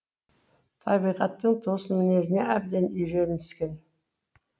табиғаттың тосын мінезіне әбден үйіреніскен